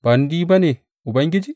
Ba ni ba ne, Ubangiji?